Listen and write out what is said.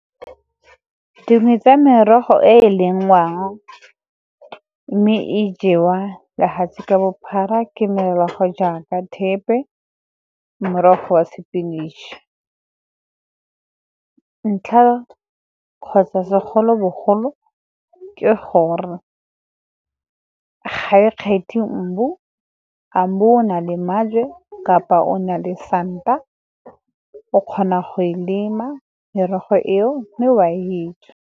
Dingwe tsa merogo e e lengwang, mme e jewa lefatshe ka bophara ke merogo jaaka thepe, morogo wa sepinatšhe. Ntlha kgotsa segolobogolo ke gore ga e kgethe mmu, a mmu o na le maje kapa o na le santa, o kgona go e lema merogo eo mme wa e ja.